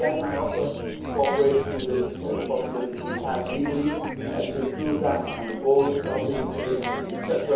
Here again I offer cooperation, within the possibilities we have legally, to improve that on the boards of these agencies etc.,